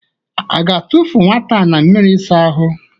A ga-atụfụ nwata na mmịrị ịsa ahụ?